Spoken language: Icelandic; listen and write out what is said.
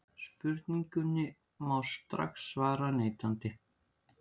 Spurningunni má strax svara neitandi.